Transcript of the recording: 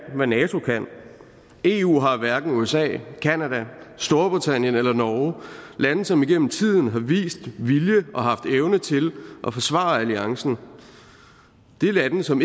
hvad nato kan eu har hverken usa canada storbritannien eller norge lande som igennem tiden har vist vilje og haft evne til at forsvare alliancen det er lande som